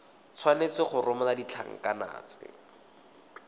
tshwanetse go romela ditlankana tse